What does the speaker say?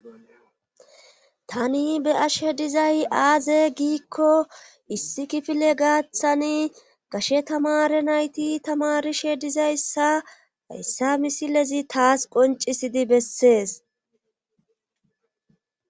tani be ashe dizay aaze giikko issi kifile gaaththani gashe tamare nayti tamarishe dizayssa hayssa misilezi taas qoncisidi bessees